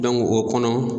o kɔnɔ